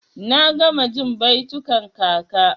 Na gama jin baitukan kaka.